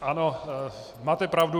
Ano, máte pravdu.